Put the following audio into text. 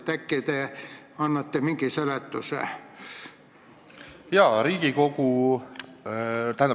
Äkki te annate mingi seletuse?